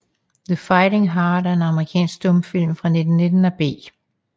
The Fighting Heart er en amerikansk stumfilm fra 1919 af B